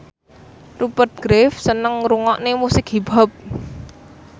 Rupert Graves seneng ngrungokne musik hip hop